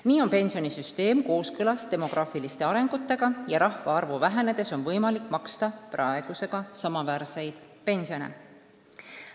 Nii on pensionisüsteem kooskõlas demograafiliste arengutega ja rahvaarvu vähenedes on võimalik maksta praegusega samaväärseid pensione.